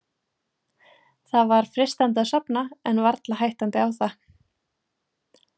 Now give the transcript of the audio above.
Það var freistandi að sofna en varla hættandi á það.